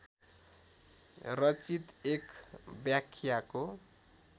रचित एक व्याख्याको